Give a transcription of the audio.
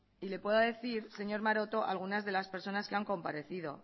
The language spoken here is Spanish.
y le puedo decir señor maroto alguna de las personas que han comparecido